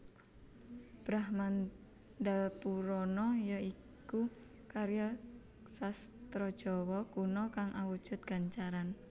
Brahmandapurana ya iku karya sastra Jawa Kuna kang awujud gancaran